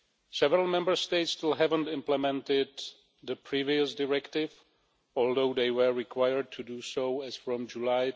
Several Member States still haven't implemented the previous directive, although they were required to do so as from July